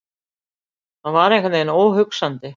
Það var einhvern veginn óhugsandi.